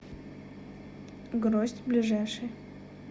гроздь ближайший